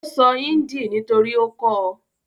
Ó sọ índì nítorí ó kọ́ ọ.